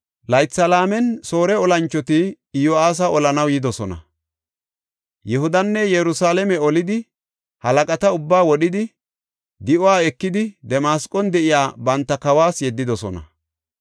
Laytha laamen, Soore olanchoti Iyo7aasa olanaw yidosona. Yihudanne Yerusalaame olidi halaqata ubbaa wodhidi, di7uwa ekidi Damasqon de7iya banta kawas yeddidosona.